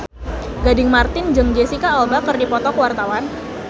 Gading Marten jeung Jesicca Alba keur dipoto ku wartawan